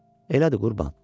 "Elədir qurban."